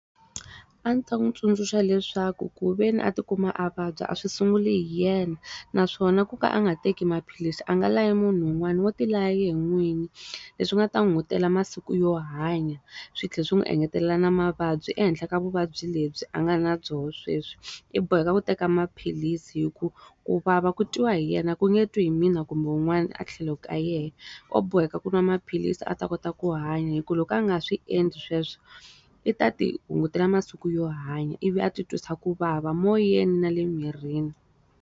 A ndzi ta n'wi tsundzuxa leswaku ku ve ni a ti kuma a vabya a swi sunguli hi yena naswona ku ka a nga teki maphilisi a nga layi munhu wun'wani wo ti laya yena n'wini. Leswi nga ta hungutela masiku yo hanya, swi tlhela swi n'wi engetelela na mavabyi ehenhla ka vuvabyi lebyi a nga na byona sweswi. I boheka ku teka maphilisi hikuva ku vava ku twiwa hi yena ku nge twi hi mina kumbe wun'wani a tlhelo ka yena. O boheka ku nwa maphilisi a ta kota ku hanya hikuva loko a nga swi endli sweswo, i ta ti hungutela masiku yo hanya ivi a ti twisa ku vava moyeni na le mirini.